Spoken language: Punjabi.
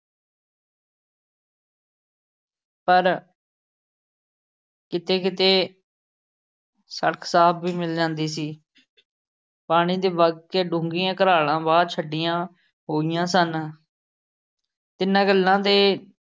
ਪਰ ਕਿਤੇ-ਕਿਤੇ ਸੜਕ ਸਾਫ ਵੀ ਮਿਲ ਜਾਂਦੀ ਸੀ। ਪਾਣੀ ਨੇ ਵੱਗ ਕੇ ਡੂੰਘੀਆਂ ਘਰਾਲ਼ਾਂ ਵਾਹ ਛੱਡੀਆਂ ਹੋਈਆਂ ਸਨ। ਤਿੰਨਾਂ ਗੱਲਾਂ ਨੇ